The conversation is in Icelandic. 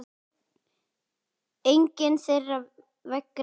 Engin þeirra vegna aldurs.